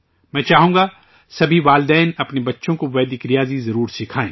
میں چاہوں گا، سبھی والدین اپنے بچوں کو ویدک میتھ ضرور سکھائیں